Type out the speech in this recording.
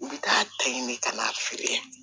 U bɛ taa ta ɲini ka n'a feere